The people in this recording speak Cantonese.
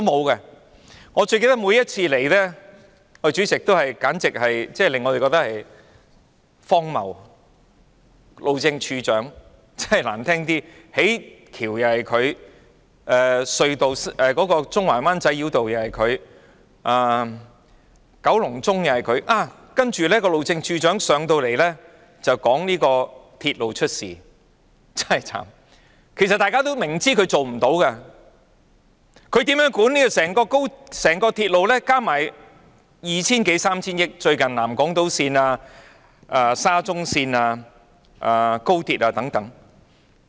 代理主席，我最記得路政署署長每一次前來，也令我們感到荒謬，說得難聽一點，負責興建橋樑的是他、興建中環灣仔繞道又是他、九龍中又是他，接着他來到立法會便談論鐵路出事，真可憐，其實大家也明知他無法處理的，他怎樣管理合共二三千億元的整個鐵路工程，包括最近南港島線、沙中線和高鐵等？